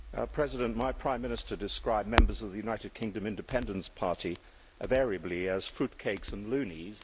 Mr President, my prime minister describes members of the United Kingdom Independence Party interchangeably as fruitcakes' and loonies'.